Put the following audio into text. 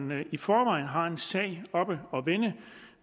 man i forvejen har en sag oppe at vende